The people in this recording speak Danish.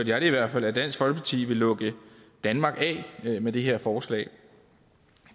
jeg det i hvert fald at dansk folkeparti vil lukke danmark af med det her forslag